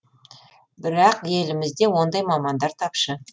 бірақ елімізде ондай мамандар тапшы